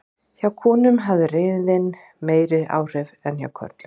Hjá konum hafði reiðin meiri áhrif en hjá körlum.